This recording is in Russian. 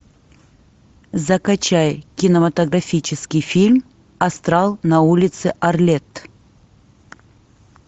закачай кинематографический фильм астрал на улице арлетт